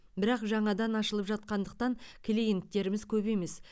бірақ жаңадан ашылып жатқандықтан клиенттеріміз көп емес